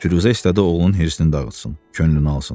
Firuzə istədi oğlunun hırsını dağıtsın, könlünü alsın.